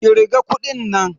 kirga kuɗin nan!